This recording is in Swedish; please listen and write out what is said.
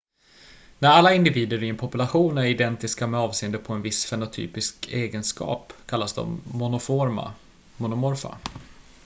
när alla individer i en population är identiska med avseende på en viss fenotypisk egenskap kallas de monomorfa